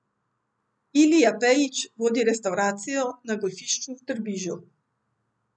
Ilija Pejić vodi restavracijo na golfišču v Trbižu.